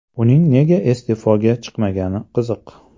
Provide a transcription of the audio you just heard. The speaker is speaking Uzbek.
Uning nega iste’foga chiqmagani qiziq.